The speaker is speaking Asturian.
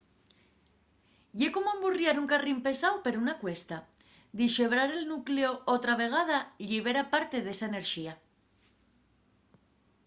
ye como emburriar un carrín pesáu per una cuesta dixebrar el nucleu otra vegada llibera parte d'esa enerxía